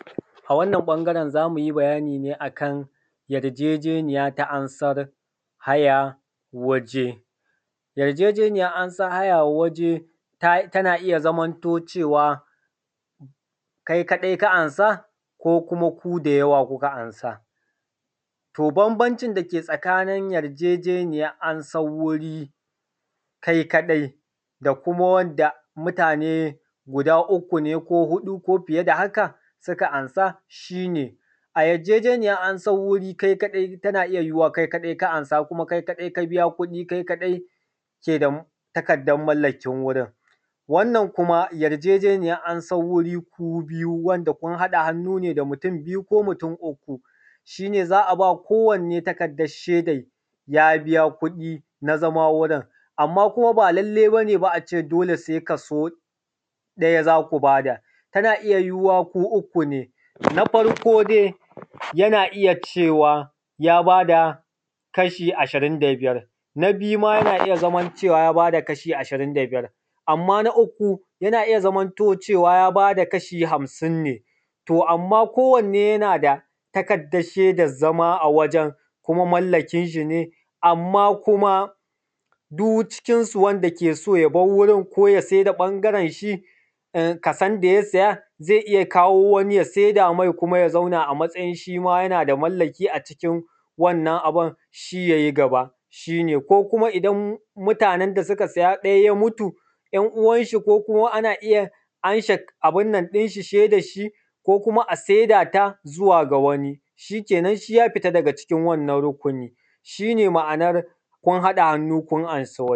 A wannan ɓangaren za mu yi bayani ne akan yarjejeniya ta amsar hayan waje, yarjejeniyar amsan haya waje tana iya zamanto cewa kai kaɗai ka amsa ko kuma ku da yawa kuka amsa. To, bambancin da ke tsakanin yarjejeniyar na amsar wuri kai kaɗai da kuma wanda mutane guda uku ne ko huɗu ko fiye da haka suka amsa, shi ne a yarjejeniyar amsar wuri kai kaɗai tana iya yuwuwar kai kaɗai ka amsa ko kuma kai kaɗai ka biya kuɗi, kai kaɗai ke da takardar mallakar wurin. Wannan kuma yarjejeniyar na amsan wuri ku biyu wanda kun haɗa hannu ne da mutum biyu ko mutum uku shi ne za a ba kowanne takardar shedar ya biya kuɗi na zama wurin, amma kuma ba lallai ba ne ba kuma a ce dole sai kaso ɗaya za ku ba da tana iya yuwuwa ku uku ne, na farko zai yana iya cewa ya bada kashi ashirin da biyar, na biyu ma yana iya zaman cewa ya bada kashi ashirin da biyar, amma na uku yana iya zamanto cewa ya bada kashi hamsin ne. To, amma kowanne yana da takardar shedar zama a wajen kuma mallakin shi ne, amma kuma duk cikinsu wanda ke so ya bar wurin ko ya saida ɓbagarenshi, kasan da ya siya zai iya kawo wani ya saida me, kuma ya zauna a matsayin shi ma yana da mallaki a cikin wannan abun, shi yai gaba shi ne ko kuma idan mutanen da suka siya ɗaya ya mutu, ‘yan uwanshi ko kuma ana iya amshe abun nan ɗin shi shaidarshi ko kuma a saida ta zuwa ga wani shi kenan shi ya fita daga cikin wannan rukuni, shi ne ma a nan kun haɗa hannu kun amsa waje.